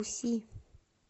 уси